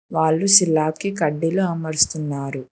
వాళ్లు సిలా కి కడ్డీలు అమరుస్తున్నారు.